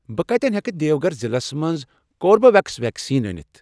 بہٕ کَتٮ۪ن ہیٚکہٕ دِیوگھر ضلعس مَنٛز کوربِویٚکس ویکسیٖن أنِتھ؟